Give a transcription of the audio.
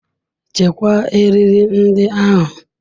Chekwaa eriri ndị ahụ.